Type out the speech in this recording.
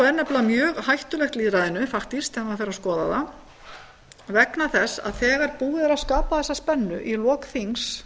málþóf er nefnilega mjög hættulegt lýðræðinu fatiskt þegar maður fer að skoða það vegna þess að þegar búið er að skapa þessa spennu í lok þings